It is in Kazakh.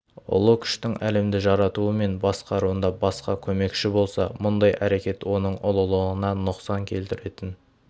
ұлы күштің әлемді жаратуы мен басқаруында басқа көмекші болса мұндай әрекет оның ұлылығына нұқсан келтіретін